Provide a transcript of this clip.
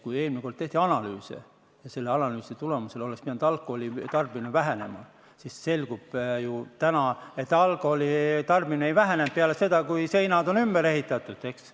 Kui eelmine kord tehti analüüse ja selle analüüsi tulemusel oleks pidanud alkoholi tarbimine vähenema, siis nüüd on ju selgunud, et alkoholi tarbimine ei vähenenud peale seda, kui seinad on ümber ehitatud.